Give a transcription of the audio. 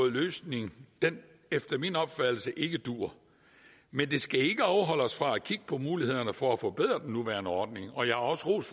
løsning efter min opfattelse ikke duer men det skal ikke afholde os fra at kigge på mulighederne for at forbedre den nuværende ordning og jeg har også rost